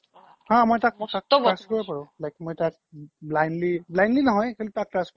হা মই তাক trust কৰিব পাৰো তাক blindly নহয় actually তাক মই trust কৰিব পাৰো